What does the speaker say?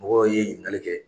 Mɔgɔ ye ɲinigali kɛ.